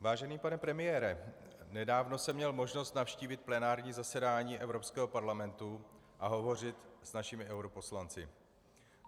Vážený pane premiére, nedávno jsem měl možnost navštívit plenární zasedání Evropského parlamentu a hovořit s našimi europoslanci.